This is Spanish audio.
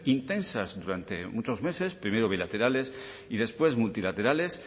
intensas durante muchos meses primero bilaterales y después multilaterales